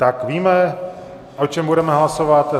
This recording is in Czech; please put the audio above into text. Tak víme, o čem budeme hlasovat?